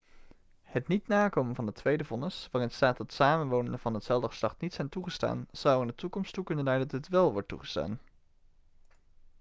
het niet nakomen van het tweede vonnis waarin staat dat samenwonenden van hetzelfde geslacht niet zijn toegestaan zou er in de toekomst toe kunnen leiden dat dit wel wordt toegestaan